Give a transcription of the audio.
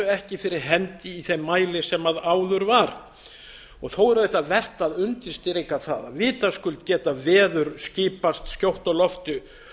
ekki fyrir hendi í þeim mæli sem áður var þó er auðvitað vert að undirstrika það að vitaskuld geta veður skipast skjótt á lofti